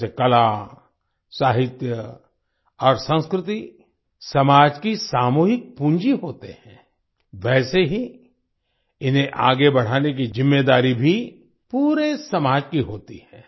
जैसे कला साहित्य और संस्कृति समाज की सामूहिक पूंजी होते हैं वैसे ही इन्हें आगे बढ़ाने की जिम्मेदारी भी पूरे समाज की होती है